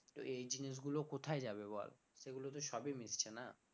তো এই জিনিসগুলো কোথায় যাবে বল সেগুলো তো সবই মিশছে না